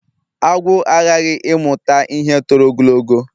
Agwu aghaghị ịmụta ihe tọrọ ogologo